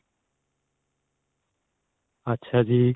ਅੱਛਾ ਜੀ.